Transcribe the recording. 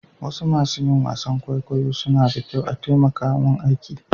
Wasu masun yin wasan kwaikwayo suna da kyau a'takamaiman aiki.